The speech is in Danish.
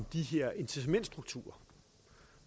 de her incitamentsstrukturer